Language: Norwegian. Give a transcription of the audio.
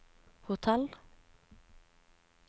hotell